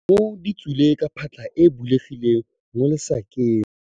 Dikgomo di tswile ka phatlha e e bulegileng mo lesakeng.